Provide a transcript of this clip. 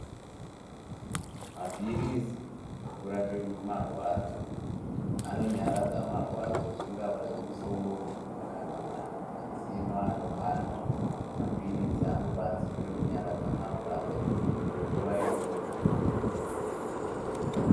Mapirizi ekurape marwadzi anonyaradze marwadzo zvingave zvemusoro kana ma mazini anopanda mapiritsi anobatsire kunyaradze marwadzo kwenguwa iyona.